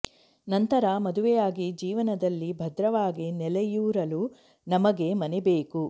ನಂತರ ಮದುವೆಯಾಗಿ ಜೀವನದಲ್ಲಿ ಭದ್ರವಾಗಿ ನೆಲೆಯೂರಲು ನಮಗೆ ಮನೆ ಬೇಕು